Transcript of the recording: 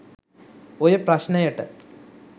ඔය ප්‍රශ්ණයට